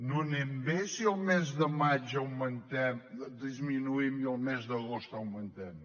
no anem bé si el mes de maig disminuïm i el mes d’agost augmentem